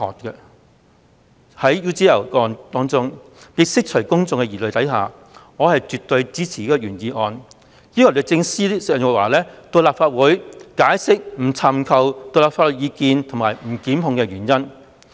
在 UGL 一案中，為釋除公眾疑慮，我絕對支持原議案要求律政司司長鄭若驊前來立法會席前解釋不尋求獨立法律意見及不作檢控的原因。